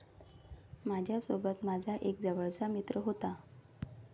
माझ्यासोबत माझा एक जवळचा मित्र होता.